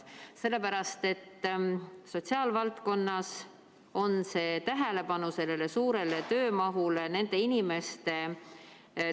Sellepärast, et sotsiaalvaldkonnas on see tähelepanu sellele suurele töömahule.